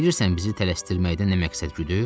Bilirsən bizi tələsdirməkdə nə məqsəd güdür?